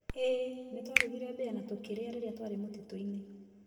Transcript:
Ĩĩ, nĩ twarugire mbīya na tũkĩrĩa rĩrĩa twarĩ mũtitũ-inĩ